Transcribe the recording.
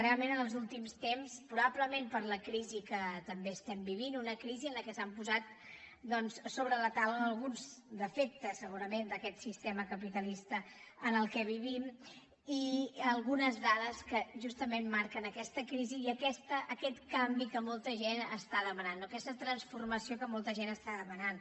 realment en els últims temps proba·blement per la crisi que també estem vivint una crisi en què s’han posat doncs sobre la taula alguns de·fectes segurament d’aquest sistema capitalista en què vivim i algunes dades que justament marquen aques·tes crisi i aquest canvi que molta gent està demanant no aquesta transformació que molta gent està dema·nant